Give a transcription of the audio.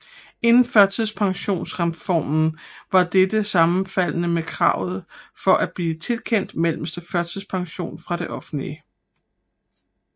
Inden førtidspensionsreformen var dette sammenfaldende med kravet for at blive tilkendt mellemste førtidspension fra det offentlige